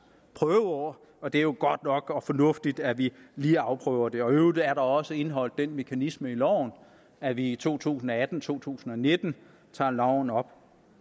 prøveår og det er jo godt nok og fornuftigt at vi lige afprøver det i øvrigt er der også indeholdt den mekanisme i loven at vi i to tusind og atten og to tusind og nitten tager loven op